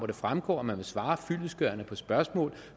det fremgår at man vil svare fyldestgørende på spørgsmål